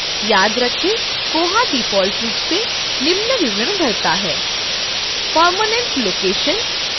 याद रखें कि koha डिफ़ॉल्ट रूप से निम्न विवरण भरता है: permanent location